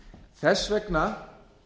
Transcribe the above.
þess vegna